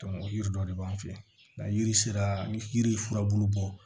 o yiri dɔ de b'an fɛ yen nka yiri sera ni yiri ye furabulu bɔ